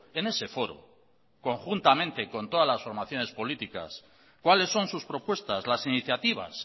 en ese foro conjuntamente con todas las formaciones políticas cuáles son sus propuestas las iniciativas